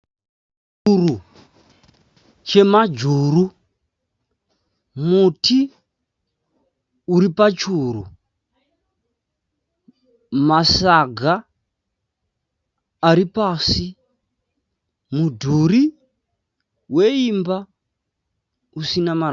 Churu chemajuru. Muti uripachuru. Masaga aripasi. Mudhuri weimba usina marata.